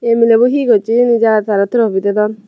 milebo he gocche hijeni jagat tarey tropi dedon.